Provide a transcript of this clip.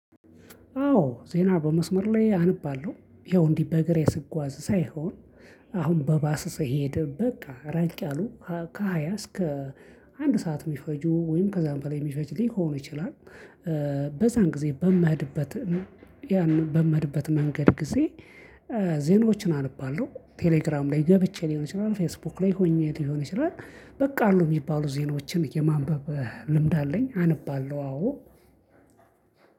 አዎ ዜና በመስመር ላይ አነባለሁ ይኸው እንዲህ በእግሬ ስጓዝ ሳይሆን አሁን በባስ ስሄድ በቃ ራቅ ያሉ ከሃያ እስከ አንድ ሰዓት የሚፈጁ ወይም ከዛም በላይ የሚፈጅ ሊሆን ይችላል። በዛን ጊዜ በምሄድበት ያንን በምሄድበት መንገድ ጊዜ ዜናዎችን አነባለሁ። ቴሌግራም ላይ ገብቼ ሊሆን ይችላል ፌስቡክ ላይ ሆኜ ሊሆን ይችላል። በቃሉ የሚባሉ ዜናዎችን የማንበብ ልምድ አለኝ አነባለሁ አዎ።